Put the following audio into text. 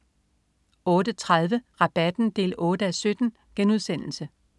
08.30 Rabatten 8:17*